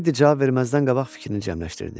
Teddi cavab verməzdən qabaq fikrini cəmləşdirdi.